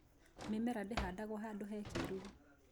Mĩmera ndĩhandagwo handũ he kĩruru